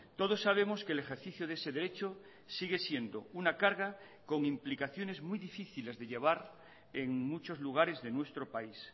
todos sabemos que el ejercicio de ese derecho sigue siendo una carga con implicaciones muy difíciles de llevar en muchos lugares de nuestro país